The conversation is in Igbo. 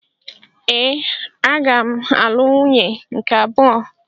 Ee, aga m alụ nwunye nke abụọ.